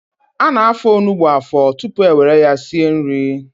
Ana-afọ onugbu afọ tutu ewere ya sie nri.